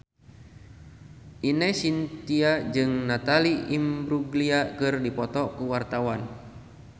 Ine Shintya jeung Natalie Imbruglia keur dipoto ku wartawan